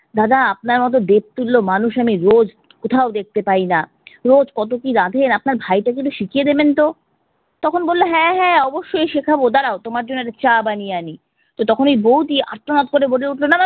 দাদা আপনার মতো দেব তুল্য মানুষ আমি রোজ কোথাও দেখতে পাইনা, রোজ কত কি রাঁধেন, আপনার ভাইটাকে একটু শিখিয়ে দেবেন তো। তখন বললো হ্যাঁ হ্যাঁ অবশ্যই শেখাবো দাড়াও তোমার জন্য একটু চা বানিয়ে আনি। তো তখন ওই বৌদি আর্তনাদ করে বলে উঠলো না না